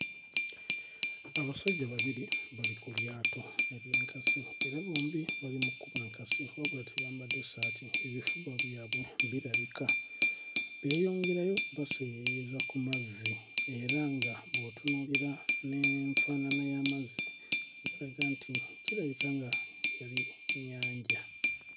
Abasajja babiri bali ku lyato ery'enkasi era bombi bali mu kkuba nkasi wabula tebambadde ssaati ebifuba byabwe birabika beeyongerayo baseeyeeyeza ku mazzi era nga bw'otunuulira n'enfaanana y'amazzi galaga nti kirabika nti yali nnyanja.